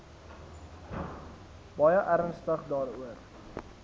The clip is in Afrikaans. baie ernstig daaroor